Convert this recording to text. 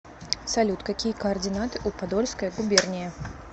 салют какие координаты у подольская губерния